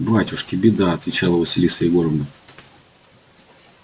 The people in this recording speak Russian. батюшки беда отвечала василиса егоровна